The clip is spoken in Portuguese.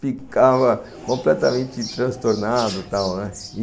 ficava completamente transtornado e tal, né.